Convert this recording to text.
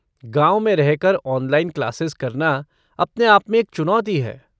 गाँव में रहकर ऑनलाइन क्लासेज़ करना अपने आप में एक चुनौती है।